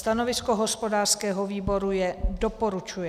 Stanovisko hospodářského výboru je doporučuje.